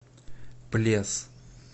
плес